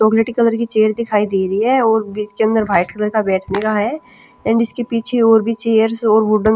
चॉकलेटी कलर की चेयर दिखाई दे रही है और इसके अंदर वाइट कलर का बैठने का है एंड इसके पीछे और भी चेयर्स और वुडन--